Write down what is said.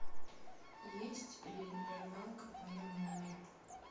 есть ли рыбалка в моем номере